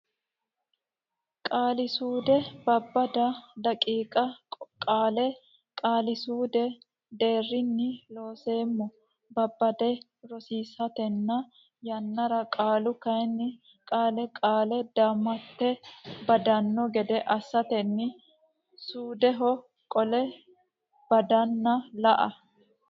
Qaali suude Babbada daqiiqa qaale qaali suudu deerrinni Looseemmo babbadde borreessitanno yannara qaalu kayinni qaale qaali damattenni baddanno gede assatenni suudeho qole badanna la e.